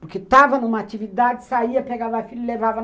Porque estava numa atividade, saía, pegava filhos e levava.